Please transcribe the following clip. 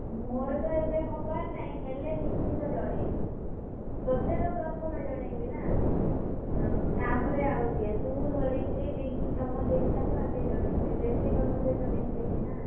ମୋର ତ ଏବେ ହବାର ନାହିଁ ହେଲେ ନିଶ୍ଚିତ ଜଣେଇବି। ତତେତ ପ୍ରଥମେ ଜଣେଇବି ନା ତାପରେ ଆଉ ଯିଏ ତୁ ଧରିତ୍ରୀ, ପିଂକି ତମ ତିନିଟାକୁ ଆଗେ ଜଣେଇବି, ତମ ତିନିଜଣ ସହିତ ବେଶୀ ମିଶିଛି ନା!